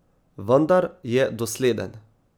Vendar je dosleden.